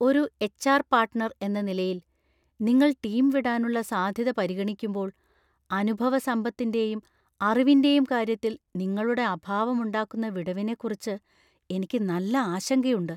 ഒരു HR. Partner എന്ന നിലയിൽ, നിങ്ങൾ ടീം വിടാനുള്ള സാധ്യത പരിഗണിക്കുമ്പോൾ, അനുഭവസമ്പത്തിന്‍റെയും അറിവിന്‍റെയും കാര്യത്തിൽ നിങ്ങളുടെ അഭാവം ഉണ്ടാക്കുന്ന വിടവിനെക്കുറിച്ച് എനിക്ക് നല്ല ആശങ്കയുണ്ട്.